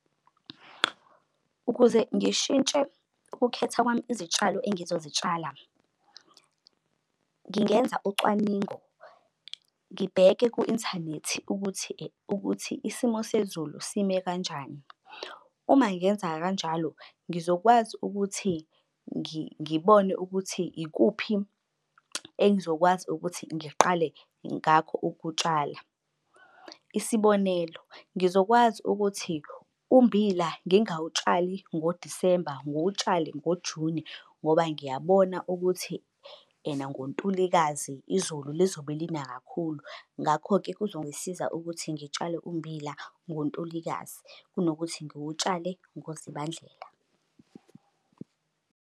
Ukuze ngishintshe ukukhetha kwami izitshalo engizozitshala ngingenza ucwaningo, ngibheke ku-inthanethi ukuthi ukuthi isimo sezulu sime kanjani. Uma ngenza kanjalo ngizokwazi ukuthi ngibone ukuthi ikuphi engizokwazi ukuthi ngiqale ngakho ukutshala. Isibonelo, ngizokwazi ukuthi ummbila ngingawutshali ngoDisemba ngiwutshale ngoJuni ngoba ngiyabona ukuthi ena ngoNtulikazi izulu lizobe lina kakhulu. Ngakho-ke kuzongisiza ukuthi ngitshale ummbila ngoNtulikazi kunokuthi ngiwutshale ngoZibandlela.